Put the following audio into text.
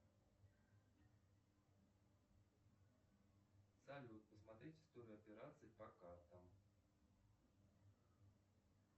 салют посмотреть историю операций по картам